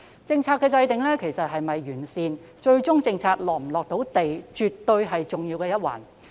政策的制訂是否完善及最終是否"貼地"，絕對是重要的一環。